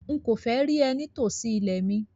Nkọ fẹ́ rí ẹ̀ ní tó sí ilẹ̀ mi!